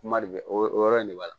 Kuma de bɛ o yɔrɔ in de b'a la